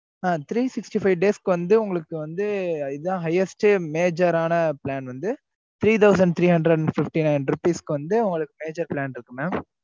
ஆஹ் three sixty five days வந்து உங்களுக்கு வந்து இதான் highest major ஆன வந்து plan வந்து three thousand three hundred fifty nine வந்து major வந்து இருக்கும் mam